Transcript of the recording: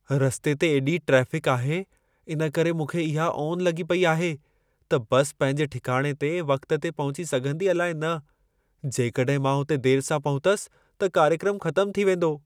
रस्ते ते एॾी ट्रेफ़िक आहे, इन करे मूंखे इहा ओन लॻी पेई आहे, त बस पंहिंजे ठिकाणे ते वक़्त ते पहुची सघंदी अलाइ न। जेकॾहिं मां हुते देर सां पहुतसि त कार्यक्रमु ख़तमु थी वेंदो।